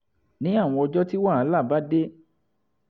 ní àwọn ọjọ́ tí wàhálà bá dé